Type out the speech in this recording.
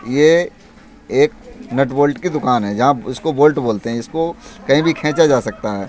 यह एक nut bolt की दुकान हैै जहाँ इसको बोल्ट बोलते हैै। इसको कही भी खीचा जा सकता हैं।